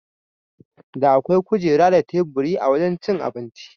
Da akwai kujera da teburi a wajan cin abinci.